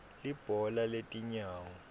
libhola letinyawo